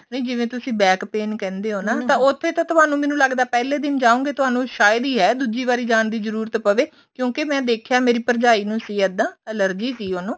ਨਹੀਂ ਜਿਵੇਂ ਤੁਸੀਂ back pain ਕਹਿੰਦੇ ਹ ਨਾ ਤਾਂ ਉੱਥੇ ਤਾਂ ਤੁਹਾਨੂੰ ਮੈਨੂੰ ਲੱਗਦਾ ਪਹਿਲੇ ਜਾਉਂਗੇ ਤੁਹਾਨੂੰ ਸ਼ਾਇਦ ਹੀ ਹੈ ਦੂਜੀ ਵਾਰੀ ਜਾਣ ਦੀ ਜਰੂਰਤ ਪਵੇ ਕਿਉਂਕਿ ਮੈਂ ਦੇਖਿਆ ਮੈਂ ਮੇਰੀ ਭਰਜਾਈ ਨੂੰ ਸੀ ਇੱਦਾਂ allergy ਸੀ ਉਹਨੂੰ